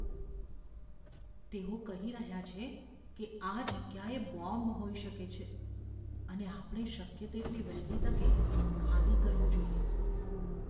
તેઓ કહી રહ્યા છે કે આ જગ્યાએ બોમ્બ હોઈ શકે છે અને આપણે શક્ય તેટલી વહેલી તકે ખાલી કરવું જોઈએ.